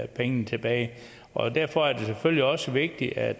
pengene tilbage og derfor er det selvfølgelig også vigtigt at